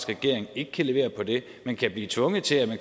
regering ikke kan levere på det men kan blive tvunget til at